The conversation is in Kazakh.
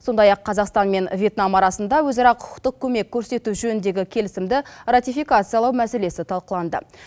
сондай ақ қазақстан мен вьетнам арасында өзара құқықтық көмек көрсету жөніндегі келісімді ратификациялау мәселесі талқыланды